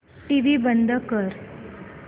TV बंद कर